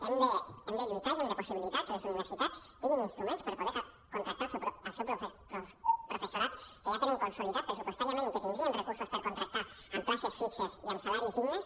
hem de lluitar i hem de possibilitar que les universi·tats tinguin instruments per poder contractar el seu professorat que ja tenen conso·lidat pressupostàriament i que tindrien recursos per contractar amb places fixes i amb salaris dignes